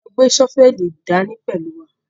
A máa gbé ṣọ́fẹ́lì dání pẹ̀lú wa.